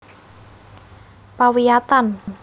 Pawiyatan